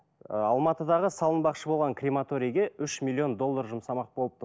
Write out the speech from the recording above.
ы алматыдағы салынбақшы болған крематорийге үш миллион доллар жұмсамақ болыпты